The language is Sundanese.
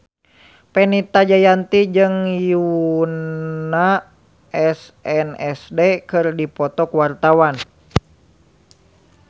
Fenita Jayanti jeung Yoona SNSD keur dipoto ku wartawan